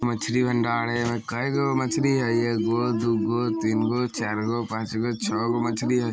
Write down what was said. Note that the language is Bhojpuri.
मछली भंडार हैकाई गायो एक गो डू गो थ्री गो चार गो पांच गो छो गो मछली है।